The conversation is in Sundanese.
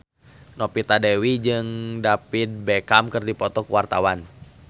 Novita Dewi jeung David Beckham keur dipoto ku wartawan